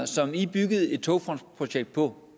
som i byggede et togfondsprojekt på